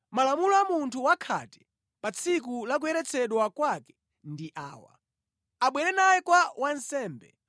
“Malamulo a munthu wakhate pa tsiku la kuyeretsedwa kwake ndi awa: Abwere naye kwa wansembe.